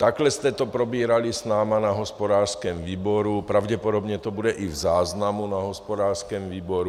Takhle jste to probírali s námi na hospodářském výboru, pravděpodobně to bude i v záznamu na hospodářském výboru.